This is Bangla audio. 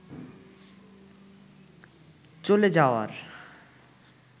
চলে যাওয়ার